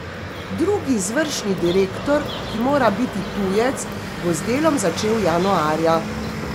Drugi izvršni direktor, ki mora biti tujec, bo z delom začel januarja.